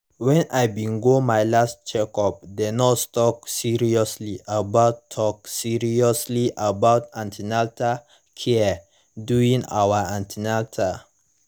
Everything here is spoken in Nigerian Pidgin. when i bin go my last checkup the nurse talk seriously about talk seriously about an ten atal care during our an ten atal